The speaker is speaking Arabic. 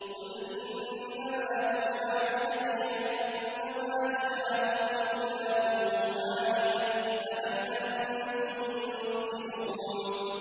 قُلْ إِنَّمَا يُوحَىٰ إِلَيَّ أَنَّمَا إِلَٰهُكُمْ إِلَٰهٌ وَاحِدٌ ۖ فَهَلْ أَنتُم مُّسْلِمُونَ